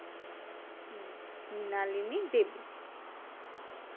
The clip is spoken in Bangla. হু মৃণালিনী দেবী